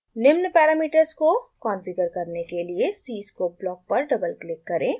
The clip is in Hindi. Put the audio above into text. निम्न पैरामीटर्स को कॉन्फ़िगर करने के लिए cscope block पर डबल क्लिक करें